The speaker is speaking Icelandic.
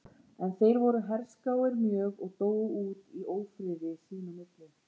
En þeir voru herskáir mjög og dóu út í ófriði sín á milli.